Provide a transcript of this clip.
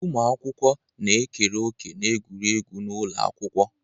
Ụmụ akwụkwọ na-ekere òkè n'egwuregwu n'ụlọ akwụkwọ.